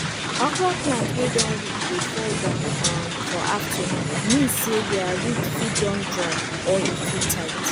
okro plant wey don weak dey fall down um for afternoon mean say dere root fit don dry or e too tight